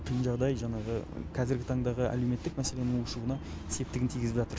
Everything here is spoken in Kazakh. халыққа тың жағыдай жаңағы қазіргі таңдағы әлеуметтік мәселенің ушығуына септігін тигізіп жатыр